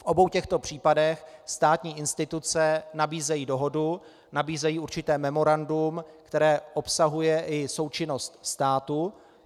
V obou těchto případech státní instituce nabízejí dohodu, nabízejí určité memorandum, které obsahuje i součinnost státu.